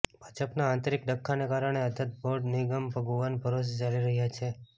ભાજપના આંતરિક ડખ્ખાના કારણે અધધ બોર્ડ નિગમ ભગવાન ભરોષે ચાલી રહ્યા છે